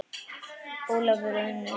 Ólafur og Unnur.